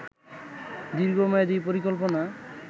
দীর্ঘমেয়াদি পরিকল্পনা